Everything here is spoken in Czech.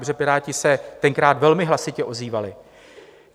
Protože Piráti se tenkrát velmi hlasitě ozývali.